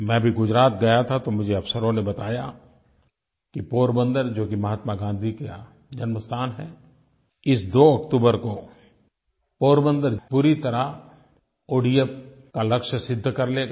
मैं अभी गुजरात गया था तो मुझे अफ़सरों ने बताया कि पोरबंदर जो कि महात्मा गाँधी का जन्म स्थान है इस 2 अक्टूबर को पोरबंदर पूरी तरह ओडीएफ का लक्ष्य सिद्ध कर लेगा